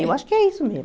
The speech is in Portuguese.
Eu acho que é isso mesmo.